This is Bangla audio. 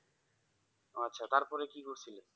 আচ্ছা তারপরে কি ঘটেছিলো?